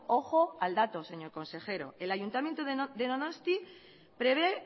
ojo al dato señor consejero el ayuntamiento de donostia prevé